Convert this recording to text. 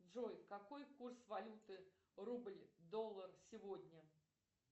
джой какой курс валюты рубль доллар сегодня